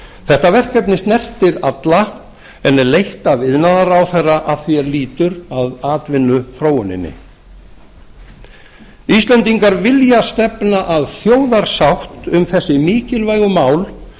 þetta verkefni snertir alla en er leitt af iðnaðarráðherra að því er lýtur að atvinnuþróuninni íslendingar vilja stefna að þjóðarsátt um þessi mikilvægu mál